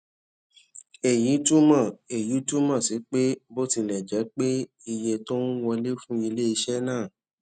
èyí túmọ èyí túmọ sí pé bó tilẹ jẹ pé iye tó ń wọlé fún ilé iṣẹ náà